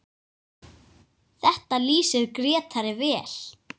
Þetta lýsir Grétari vel.